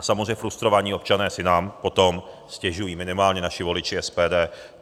A samozřejmě frustrovaní občané si nám potom stěžují, minimálně naši voliči SPD.